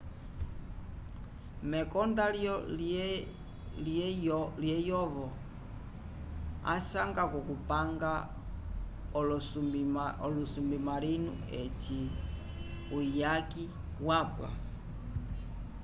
mekonda lyeyovo asanga k'okupanga olosubimarinu eci uyaki wapwa